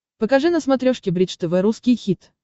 покажи на смотрешке бридж тв русский хит